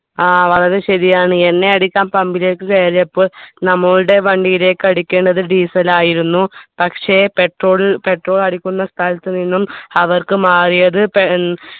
ആ വളരെ ശരിയാണ് എണ്ണയടിക്കാൻ pumb ലേക്ക് കയറിയപ്പോൾ നമ്മളുടെ വണ്ടിയിലേക്ക് അടിക്കേണ്ടത് diesel ആയിരുന്നു പക്ഷെ petrol petrol അടിക്കുന്ന സ്ഥലത്ത് നിന്നും അവർക്ക് മാറിയത് പേ ഏർ